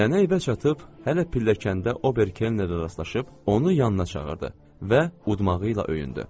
Nənə evə çatıb hələ pilləkəndə Ober Kelnə rastlaşıb onu yanına çağırdı və udmağı ilə öyündü.